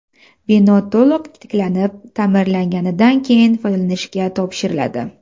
Bino to‘liq tiklanib, ta’mirlanganidan keyin foydalanishga topshiriladi.